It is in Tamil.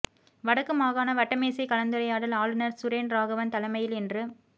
வடக்கு மாகாண வட்டமேசை கலந்துரையாடல் ஆளுநர் சுரேன் ராகவன் தலைமையில் இன்று